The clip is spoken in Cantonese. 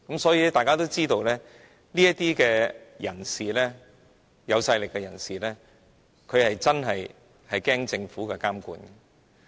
所以，大家都知道這些人——有勢力人士——會害怕政府監管。